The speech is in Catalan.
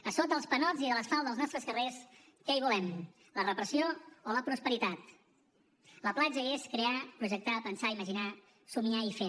a sota dels panots i de l’asfalt dels nostres carrers què hi volem la repressió o la prosperitat la platja és crear projectar pensar imaginar somiar i fer